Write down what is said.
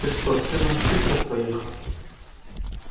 ты что с сыном в питер поехал